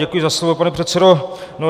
Děkuji za slovo, pane předsedo.